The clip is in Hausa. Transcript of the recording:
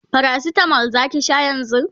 paracetamol Zaki Sha yanzun?